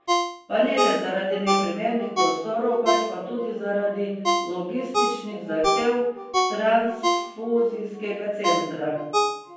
Pa ne le zaradi neprimernih prostorov, pač pa tudi zaradi logističnih zahtev transfuzijskega centra.